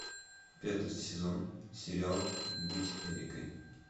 пятый сезон сериал быть эрикой